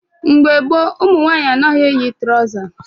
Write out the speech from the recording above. Mgbe gboo, ụmụ nwaanyị anaghị eyi trọza